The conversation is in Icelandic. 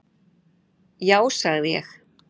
Já sagði ég.